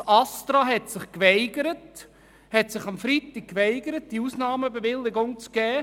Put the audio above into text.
Das ASTRA hatte sich an besagtem Freitag geweigert, die Ausnahmebewilligung zu erteilen.